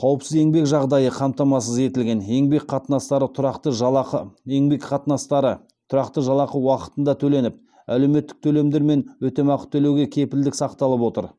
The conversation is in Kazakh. қауіпсіз еңбек жағдайы қамтамасыз етілген еңбек қатынастары тұрақты жалақы еңбек қатынастары тұрақты жалақы уақытында төленіп әлеуметтік төлемдер мен өтемақы төлеуге кепілдік сақталып отыр